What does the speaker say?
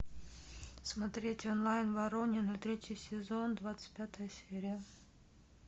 смотреть онлайн воронины третий сезон двадцать пятая серия